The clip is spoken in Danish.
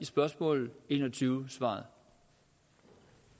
spørgsmål enogtyvende det svarede